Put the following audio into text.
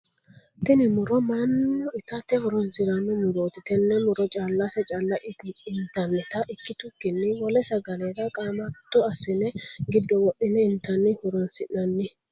Tinni muro mannu itate horoonsirano murooti. Tenne muro callase calla intannita ikitukinni wole sagalera qaamatto asine gido wodhine intanni horoonsi'nanni.